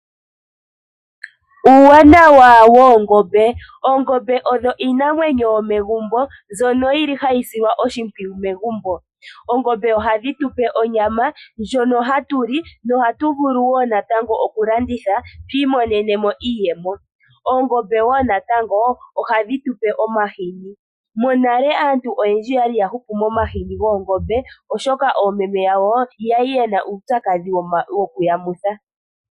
Uuwanawa woongombe, oongombe odho iinamwenyo yomegumbo mbyono yili hayi silwa oshimpwuyu megumbo. Oongombe ohadhi tupe onyama, ndjono hatu li nohatu vulu woo natango okulanditha twiimonene mo iiyemo. Oongombe woo natango ohadhi tupe omahini. Monale aantu oyendji oyali yahupu momahini goongombe oshoka oomeme yawo yali yena uupyakadhi wokuyamutha.